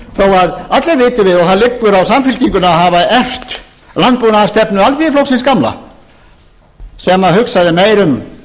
þó allir viti vel og hann liggur á samfylkingunni að hafa erft landbúnaðarstefnu alþýðuflokksins gamla sem hugsaði meira um